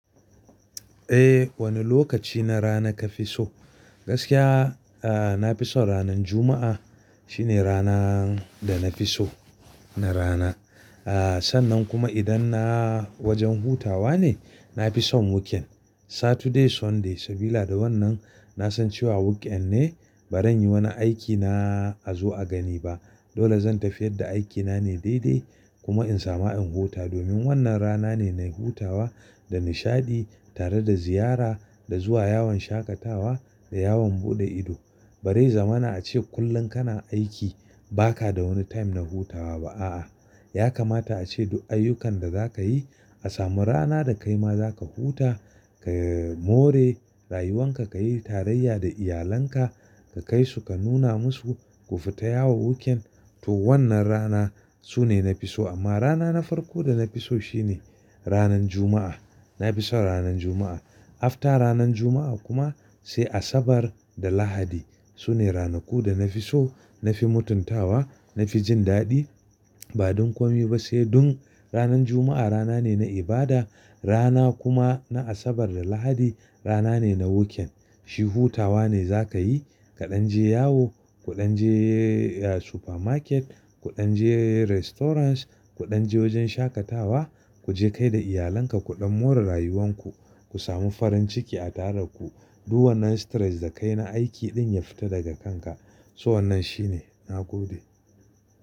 Eh wane lokaci na rana kafi so? Gaskiya aah nafi son ranan Juma'a. Shine rana da nafi so na rana. Aa sannan kuma idan na wajen hutawa ne nafi son weekend. Saturday, Sunday sabila da wannan na san cewa weekend ne baran yi wani aiki na a zo a gani ba. Dole zan tafi yadda aikina ne daidai kuma in sama in huta. Domin wannan rana ne na hutawa da nishaɗi tare da ziyara da zuwa yawon shaƙatawa da yawon buɗe ido. Barai zamana ace kullum kana aiki baka da wani time na hutawa ba a'a. Yakamata ace duk ayyukan da zakayi a samu rana da kaima zaka huta, ka more rayuwanka, kayi tarayya da iyalanka, ka kai su ka nuna masu, ku fita yawo weekend. To wannan rana sune nafi so amma rana na farko da nafi so shine ranan Juma'a. Nafison ranan Juma'a. After ranan Juma'a kuma sai Asabar da Lahadi. Sune ranaku da nafi so, nafi mutuntawa, nafi jin daɗi. Ba don komi ba sai don ranan Juma'a rana ne na ibada rana kuma na Asabar da Lahadi rana ne na weekend. Shi hutawa ne zakayi kaɗan je yawo, kuɗan je supermarket, kuɗan je restaurant, kuɗan je wajen shakatawa. Ku je kai da iyalanka kuɗan more rayuwanku. Ku samu farin ciki a tare daku. Du wannan stress da kai na aiki din ya fita daga kanka. So wannan shine. Na gode.